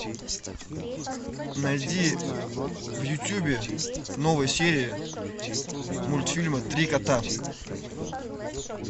найди в ютубе новые серии мультфильма три кота